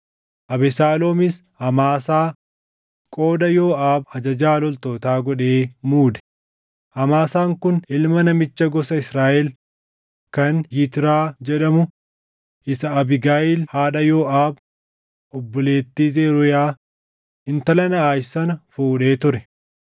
Abesaaloomis Amaasaa qooda Yooʼaab ajajaa loltootaa godhee muude; Amaasaan kun ilma namicha gosa Israaʼel kan Yitraa jedhamu isa Abiigayiil haadha Yooʼaab, obboleettii Zeruuyaa, intala Naaʼaash sana fuudhee ture.